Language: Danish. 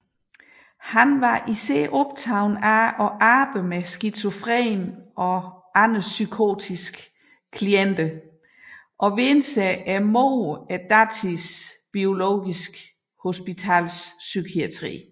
Han var især optaget af arbejdet med skizofrene og andre psykotiske klienter og vendte sig imod datidens biologiske hospitalspsykiatri